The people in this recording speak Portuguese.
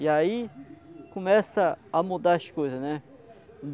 E aí começam a mudar as coisas, né?